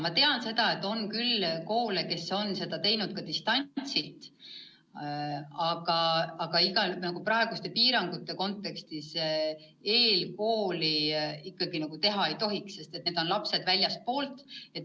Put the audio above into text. Ma tean, et on küll koole, kes on seda teinud ka distantsilt, aga praeguste piirangute korral eelkooli ikkagi teha ei tohiks, sest need on lapsed väljastpoolt kooli.